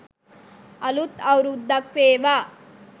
අලුත් අවුරුද්දක් වේවා.